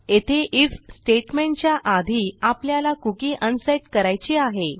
येथे आयएफ स्टेटमेंटच्या आधी आपल्याला कुकी अनसेट करायची आहे